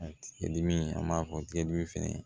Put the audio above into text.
A tigɛ dimi an b'a fɔ tigɛdimi fɛnɛ